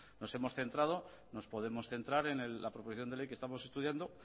nos hemos centrado nos podemos centrar en la proposición de ley que estamos estudiando